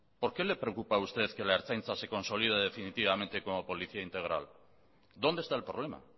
por qué le preocupa a usted que la ertzaintza se consolide definitivamente como policía integral dónde está el problema